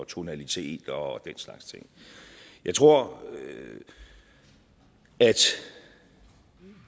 tonalitet og den slags ting jeg tror at